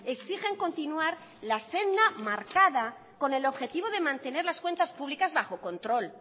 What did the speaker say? exigen continuar la senda marcada con el objetivo de mantener las cuentas públicas bajo control